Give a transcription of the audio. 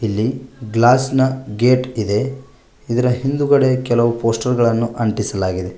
ಇಲ್ಲಿ ಗ್ಲಾಸ್ ನ ಗೇಟ್ ಇದೆ ಇದರ ಹಿಂದ್ಗಡೆ ಕೆಲವು ಪೋಸ್ಟರ್ ಗಳನ್ನು ಅಂಟಿಸಲಾಗಿದೆ.